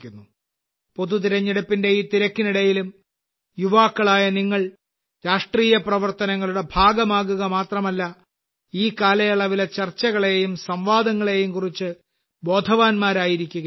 പൊതുതിരഞ്ഞെടുപ്പിന്റെ ഈ തിരക്കിനിടയിലും യുവാക്കളായ നിങ്ങൾ രാഷ്ട്രീയ പ്രവർത്തനങ്ങളുടെ ഭാഗമാകുക മാത്രമല്ല ഈ കാലയളവിലെ ചർച്ചകളെയും സംവാദങ്ങളെയും കുറിച്ച് ബോധവാന്മാരായിരിക്കുകയും വേണം